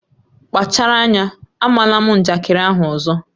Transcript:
Kpachara anya, ama ná m njakịrị ahụ ọzọ!